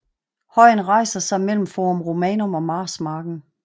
Højen rejser sig mellem Forum Romanum og Marsmarken